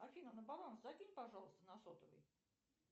афина на баланс закинь пожалуйста на сотовый